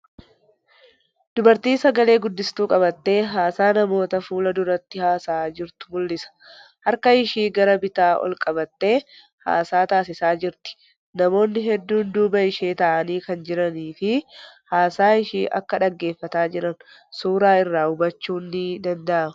Dubartii sagale guddiftuu qabattee haasaa namoota fuulduratti haasa'aa jirtu mul'isa. Harka ishee gara bitaa ol qabattee haasaa taasisaa jirti. Namoonni hedduun duuba ishee taa'anii kan jiraniifii haasaa ishee akka dhaggeeffataa jiran suuraa irraa hubachuun ni danda'ama.